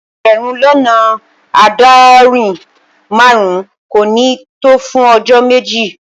Egberun lona aadorin-marun ko ni to fun ojo meji